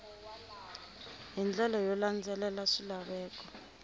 hi ndlela yo landzelela swilaveko